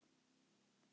Já, það var gaman!